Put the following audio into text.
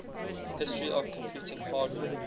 history of computing hardware